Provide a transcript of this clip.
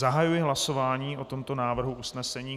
Zahajuji hlasování o tomto návrhu usnesení.